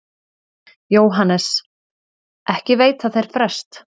JÓHANNES: Ekki veita þeir frest.